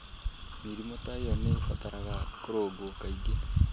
Mĩrimũ ta ĩyo nĩ ĩbataraga kũrũngwo kaingĩ